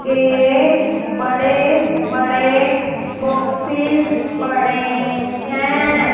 के बड़े बड़े बॉक्सेस पड़े हैं।